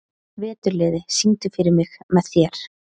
Veturliði, syngdu fyrir mig „Með þér“.